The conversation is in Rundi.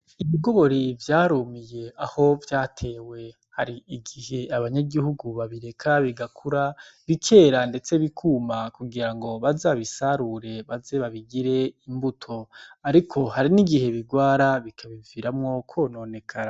Ibigori vyarumiye aho vyatewe, hari igihe abanyagihugu babireka bigakura bikera ndetse bikuma kugira ngo baze babisarure, baze babigire imbuto. Ariko hari n'igihe bigwara bikabiviramwo kwononekara.